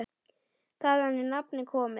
Þaðan er nafnið komið.